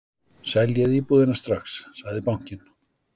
Seljið íbúðina strax sagði bankinn.